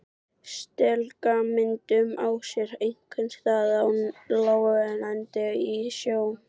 Setlagamyndun á sér einkum stað á láglendi og í sjó.